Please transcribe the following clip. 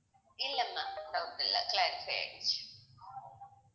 இல்லை ma'am doubt இல்லை clarify ஆயிடுச்சு